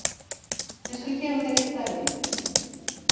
Ég skal gefa þér eitt dæmi.